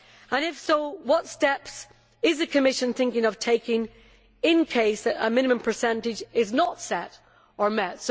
And, if so, what steps is the Commission thinking of taking in the event that a minimum percentage is not set or met?